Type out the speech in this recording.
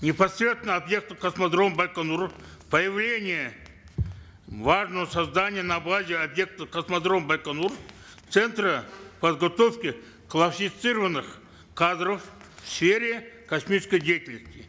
непосредственно объектов космодрома байконур появление важного создания на базе объектов космодрома байконур центра подготовки кадров в сфере космической деятельности